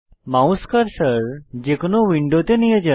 mouse cursor যে কোনো উইন্ডোতে নিয়ে যান